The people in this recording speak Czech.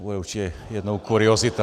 To bude určitě jednou kuriozita.